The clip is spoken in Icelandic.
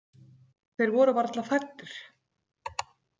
Þeir voru varla fæddir.